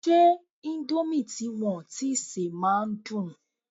Ṣé indomie tí wọn tíi sè máa ń dùn?